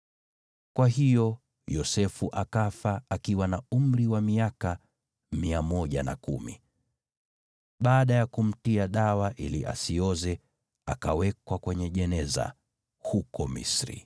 Kwa hiyo Yosefu akafa akiwa na umri wa miaka 110. Baada ya kumtia dawa ili asioze, akawekwa kwenye jeneza huko Misri.